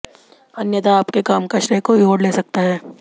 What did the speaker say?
अन्यथा आपके काम का श्रेय कोई और ले सकता है